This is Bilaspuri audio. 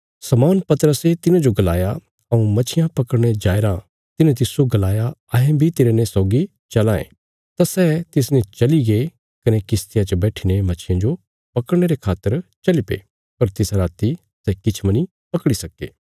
शमौन पतरसे तिन्हांजो गलाया हऊँ मच्छियां पकड़ने जायेराँ तिन्हें तिस्सो गलाया अहें बी तेरने सौगी चलां ये तां सै तिसने चलीगे कने किश्तिया च बैठीने मच्छियां जो पकड़ने रे खातर चलीपे पर तिसा राति सै किछ मनी पकड़ी सक्के